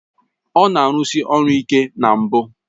Ọ na-arụsi ọrụ ike na mbụ